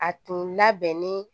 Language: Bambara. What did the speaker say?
A tun labɛnnen